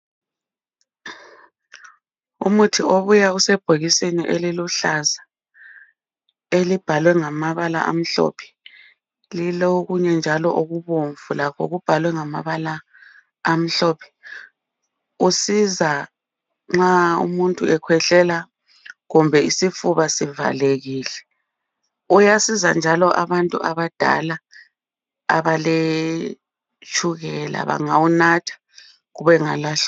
umuthi obuya usebhokisini eliluhlaza elibhalwe ngamabala amhlophe lilokunyenjalo okubomvu okubhalwe ngamabala amhlophe kusiza nxa umuntu ekhwehlela kumbe nxa isifuba sivalekile uyasiza njalo abantu abadala abaletshukela bengawunatha.